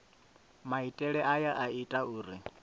maitele aya a ita uri